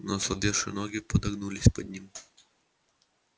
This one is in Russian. но ослабевшие ноги подогнулись под ним